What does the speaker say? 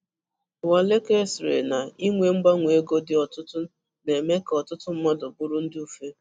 Uwaleke sị̀rì na inwe mgbanwe ego dị ọ̀tụ̀tụ̀ na-eme ka ọtụtụ mmadụ bụrụ ndị ụ̀fè.